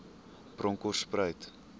bronkhortspruit